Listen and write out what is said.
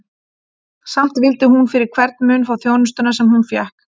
Samt vildi hún fyrir hvern mun fá þjónustuna, sem hún og fékk.